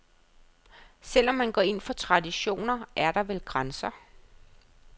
Selv om man går ind for traditioner, er der vel grænser.